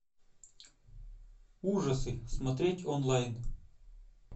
ужасы смотреть онлайн